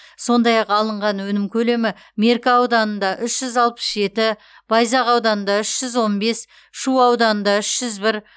сондай ақ алынған өнім көлемі меркі ауданында үш жүз алпыс жеті байзақ ауданында үш жүз он бес шу ауданында үш жүз бір